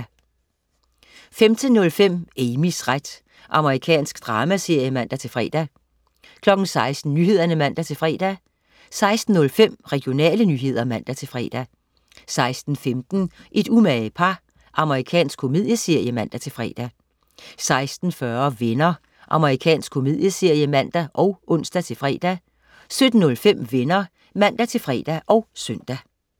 15.05 Amys ret. Amerikansk dramaserie (man-fre) 16.00 Nyhederne (man-fre) 16.05 Regionale nyheder (man-fre) 16.15 Et umage par. Amerikansk komedieserie (man-fre) 16.40 Venner. Amerikansk komedieserie (man og ons-fre) 17.05 Venner (man-fre og søn)